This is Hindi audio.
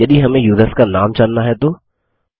यदि हमें युसर्स का नाम जानना है तो160